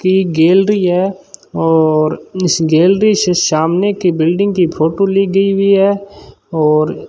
की गैलरी है और इस गैलरी से सामने की बिल्डिंग की फोटो ली गई हुई है और --